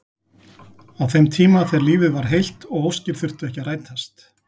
Á þeim tíma þegar lífið var heilt og óskir þurftu ekki að rætast.